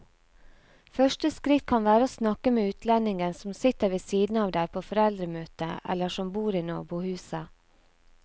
Første skritt kan være å snakke med utlendingen som sitter ved siden av deg på foreldremøtet eller som bor i nabohuset.